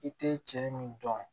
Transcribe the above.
I tɛ cɛ min dɔn